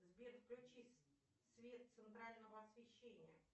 сбер включи свет центрального освещения